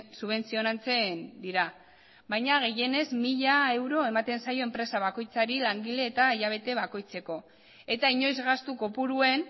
subentzionatzen dira baina gehienez mila euro ematen zaio enpresa bakoitzari langile eta hilabete bakoitzeko eta inoiz gastu kopuruen